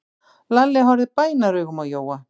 Lalli horfði bænaraugum á Jóa.